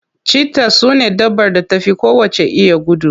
Cheaters sune dabbar da ta fi kowacce iya gudu.